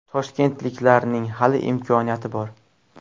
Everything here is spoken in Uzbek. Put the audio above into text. Toshkentliklarning hali imkoniyati bor.